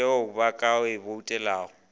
teo ba ka e boutelago